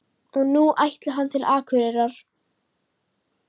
Og nú ætli hann til Akureyrar.